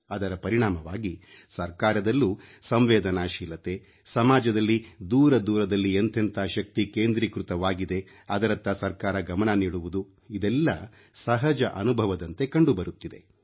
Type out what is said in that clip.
ಅದರ ಪರಿಣಾಮವಾಗಿ ಸರ್ಕಾರದಲ್ಲೂ ಸಂವೇದನಾಶೀಲತೆ ಸಮಾಜದಲ್ಲಿ ದೂರ ದೂರದಲ್ಲಿ ಎಂತೆಂಥ ಶಕ್ತಿ ಕೇಂದ್ರೀಕೃತವಾಗಿದೆ ಅದರತ್ತ ಸರ್ಕಾರ ಗಮನ ನೀಡುವುದು ಇದೆಲ್ಲ ಸಹಜ ಅನುಭವದಂತೆ ಕಂಡುಬರುತ್ತಿದೆ